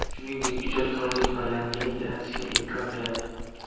Shuningdek, ijodkorlik va yangilik yaratishga imkon beradi.